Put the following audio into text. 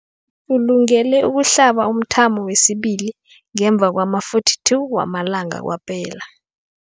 Ulungele ukuhlaba umthamo wesibili ngemva kwama-42 wamalanga kwaphela.